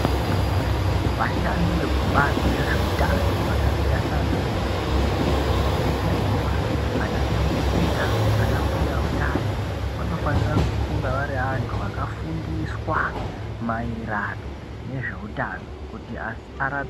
Vashandi vekubazi rezve utano vakaita sana mukoti, ana chiremba, ana nyamukuta, ana mbuya utano vanofanira kunga vari vantu vakafundiswa maererano nezveutano kuti arape